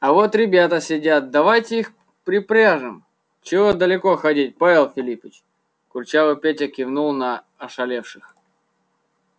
а вот ребята сидят давайте их припряжём чего далеко ходить павел филиппыч курчавый петя кивнул на ошалевших